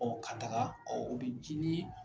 ka taga o bɛ ji ni ye.